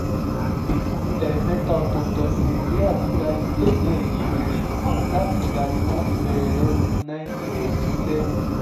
ẹ̀ẹ̀mẹ́ta ọ̀tọ̀ọ̀tọ̀ ni nàìjíríà ti gba ife ẹ̀yẹ yìí rí látìgbà tí wọ́n ti bẹ̀rẹ̀ lọ́dún nineteen fifty seven.